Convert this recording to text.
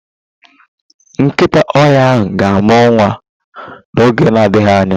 Nkịta ọhịa ahụ ga-amụ nwa n'oge adịghị anya.